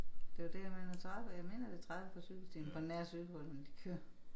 Det er jo det jeg mener 30 jeg mener det er 30 cykelstierne på nær cykelrytterne de kører